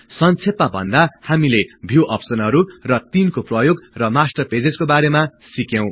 संक्षेपमा भन्दा हामीले भिउ अप्सनहरु र तिनको प्रयोग र मास्टर पेजेज् को बारेमा सिक्यौं